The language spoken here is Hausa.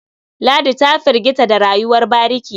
Ladi ta firgita da rayuwar bariki.